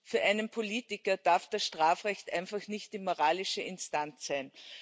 Für einen Politiker darf das Strafrecht einfach nicht die moralische Instanz sein.